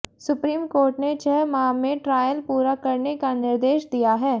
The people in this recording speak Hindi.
सुप्रीम कोर्ट ने छह माह में ट्रायल पूरा करने का निर्देश दिया है